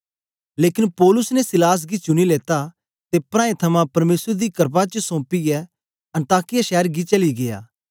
लेकन पौलुस ने सीलास गी चुनी लेता ते प्राऐं थमां परमेसर दी क्रपा च सोंपियै अन्ताकिया शैर गी चली गीया